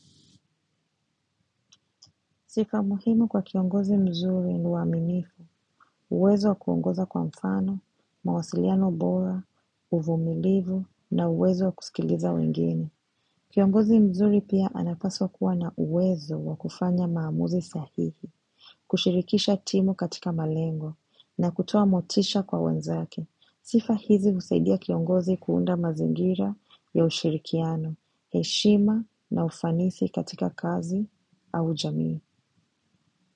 Sifa muhimu kwa kiongozi mzuri ni uaminifu, uwezo wa kuongoza kwa mfano, mawasiliano bora, uvumilivu, na uwezo wa kusikiliza wengine. Kiongozi mzuri pia anapaswa kuwa na uwezo wa kufanya maamuzi sahihi, kushirikisha timu katika malengo, na kutoa motisha kwa wenzake. Sifa hizi husaidia kiongozi kuunda mazingira ya ushirikiano, heshima na ufanisi katika kazi au jamii.